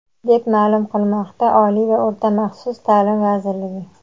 deb ma’lum qilmoqda Oliy va o‘rta maxsus ta’lim vazirligi.